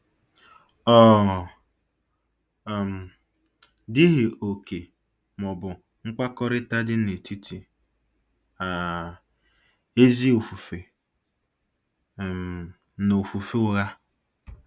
Ọ um dịghị òkè ma ọ bụ mkpakọrịta dị n'etiti um ezi ofufe um na ofufe ụgha.